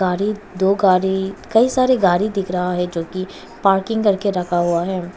गाड़ी दो गाड़ी कई सारे गाड़ी दिख रहा है जो की पार्किंग करके रखा हुआ है।